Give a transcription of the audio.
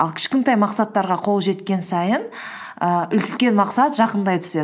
ал кішкентай мақсаттарға қол жеткен сайын ііі үлкен мақсат жақындай түседі